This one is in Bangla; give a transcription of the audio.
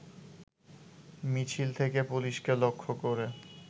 মিছিল থেকে পুলিশকে লক্ষ্য করে